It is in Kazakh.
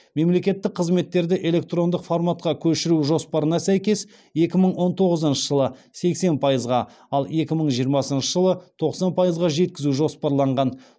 мемлекеттік қызметтерді электрондық форматқа көшіру жоспарына сәйкес екі мың он тоғызыншы жылы сексен пайызға ал екі мың жиырмасыншы жылы тоқсан пайызға жеткізу жоспарланған